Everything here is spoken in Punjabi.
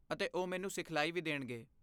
ਅਤੇ ਉਹ ਮੈਨੂੰ ਸਿਖਲਾਈ ਵੀ ਦੇਣਗੇ।